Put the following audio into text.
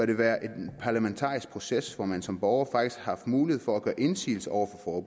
der være en parlamentarisk proces hvor man som borger faktisk har mulighed for at gøre indsigelse over for